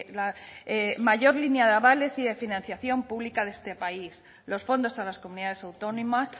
la mayor línea de avales y de financiación pública de este país los fondos a las comunidades autónomas